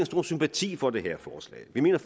stor sympati for det her forslag vi mener